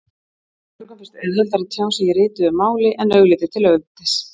Mörgum finnst auðveldara að tjá sig í rituðu máli en augliti til auglitis.